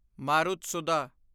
Marutsudha